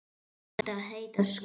Hann átti að heita Skundi.